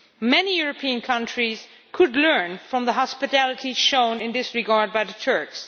Many European countries could learn from the hospitality shown in this regard by the Turks.